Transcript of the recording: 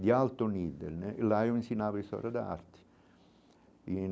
de alto nível né, e lá eu ensinava a história de arte e